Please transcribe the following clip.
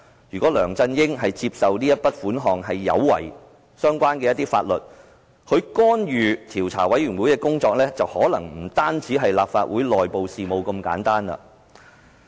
如果梁振英接受這筆款項有違相關法律，他就是干預專責委員會的工作，可能不單是干預立法會內部事務那麼簡單。